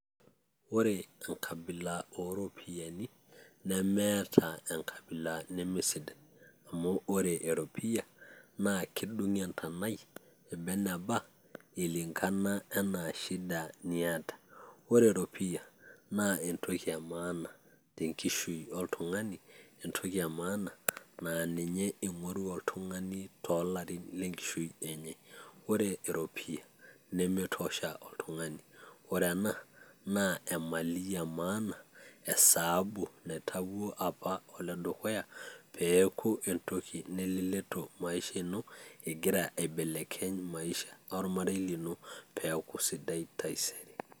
ore enkabila ooropiyiani, nemeeta enkabila neme sidai, amu ore eropiyia kedung' entonai eba eneba, kulingana anaa shida niata, ore eropiyia naa entoki emaana tenkishui oltungani. entoki emaana naa ninye ing'oru oltungani toolarin lenkishui enye. ore eropiyia na mitosha oltungani ore ena naa emali emaana. esaabu naitawuo apa oltungani ledukuya naret ormarei lino pee eeku sidai taisere.